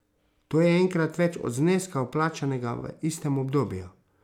To je enkrat več od zneska vplačanega v istem obdobju.